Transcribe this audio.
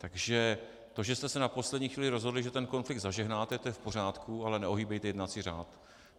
Takže to, že jste se na poslední chvíli rozhodli, že ten konflikt zažehnáte, to je v pořádku, ale neohýbejte jednací řád.